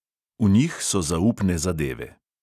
V njih so zaupne zadeve.